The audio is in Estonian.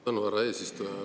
Tänu, härra eesistuja!